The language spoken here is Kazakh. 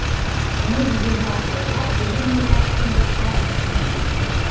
оны жүзеге асыруға елу миллиард теңге қаржы бөлінбекші